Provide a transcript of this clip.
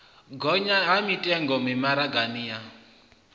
gonya ha mitengo mimaraga ya